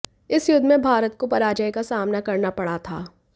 इस युद्ध में भारत को पराजय का सामना करना पड़ा था